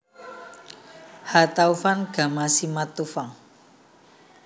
H Taufan Gama Simatupang